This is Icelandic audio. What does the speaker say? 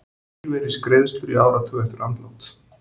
Lífeyrisgreiðslur í áratug eftir andlát